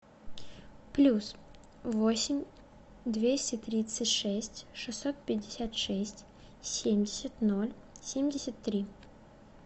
плюс восемь двести тридцать шесть шестьсот пятьдесят шесть семьдесят ноль семьдесят три